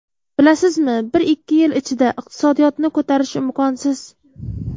Bilasizmi, bir-ikki yil ichida iqtisodiyotni ko‘tarish imkonsiz.